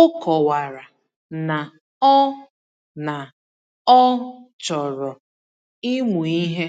O kọwara na ọ na ọ chọrọ ịmụ ihe,